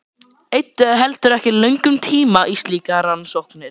Eyddu heldur ekki löngum tíma í slíkar rannsóknir.